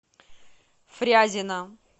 фрязино